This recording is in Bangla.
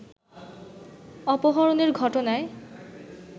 অপহরণের ঘটনায়